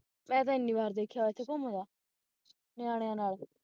ਮੈਂ ਤੇ ਏਨੀ ਵਾਰ ਵੇਖਿਆ ਏਥੇ ਘੁੰਮਦਾ ਨਿਆਣਿਆ ਨਾਲ